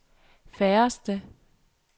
færreste